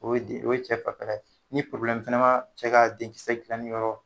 O ye de o ye cɛ fanfɛla ye. Ni fɛnɛ b'a cɛ ka den kisɛ dilanni yɔrɔ